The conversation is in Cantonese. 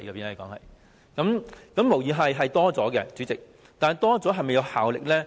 主席，金額無疑是增加了，但保障是否有效呢？